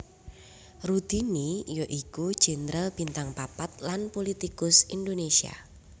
Rudini ya iku jenderal bintang papat lan pulitikus Indonésia